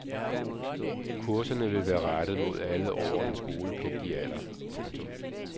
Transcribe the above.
Kurserne vil være rettet mod alle over den skolepligtige alder. punktum